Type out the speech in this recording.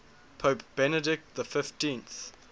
pope benedict xv